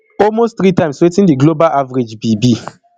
almost three times wetin di global average be be